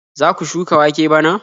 Za su shuka wake bana?